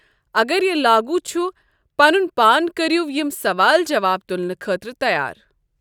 اگر یہِ لاگوٗ چھ، پنُن پان کٔرِو یم سوال جواب تُلنہٕ خٲطرٕ تَیار۔